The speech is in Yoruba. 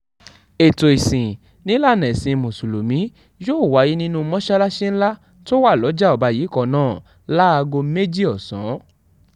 ètò ìsìn nílànà ẹ̀sìn mùsùlùmí yóò wáyé nínú mọ́ṣáláṣí ńlá tó wà lọ́jà ọba yìí kan náà láago méjì ọ̀sán